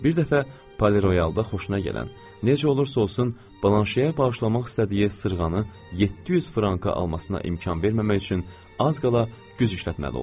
Bir dəfə, Poleroyalda xoşuna gələn, necə olursa olsun, Blanşeyə bağışlamaq istədiyi sırğanı 700 franka almasına imkan verməmək üçün az qala güc işlətməli oldum.